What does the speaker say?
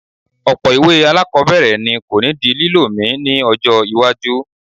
Ọ̀pọ̀ ìwé alákọ̀ọ́bẹ̀rẹ̀ ni kò ní di lílò mi ní ọjọ́ iwájú